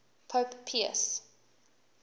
pope pius